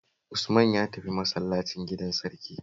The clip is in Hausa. Usman ya tafi masallacin gidan sarki